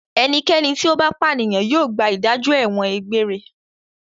Ẹnikẹ́ni tí ó bá pànìyàn yóò gba ìdájọ́ ẹ̀wọ̀n egbére.